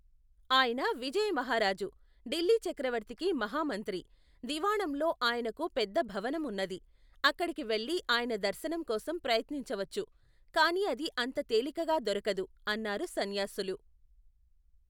ఆయన విజయమహారాజు, ఢిల్లీ చక్రవర్తికి మహామంత్రి. దివాణంలో ఆయనకు పెద్ద భవనం ఉన్నది. అక్కడికి వెళ్ళి ఆయన దర్శనం కోసం ప్రయత్నించవచ్చు ! కాని అది అంత తేలికగా దొరకదు, అన్నారు సన్యాసులు.